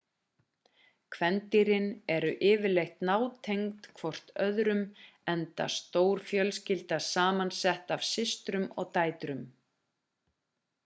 kvendýrin eru yfirleitt nátengd hvort öðrum enda stór fjölskylda samansett af systrum og dætrum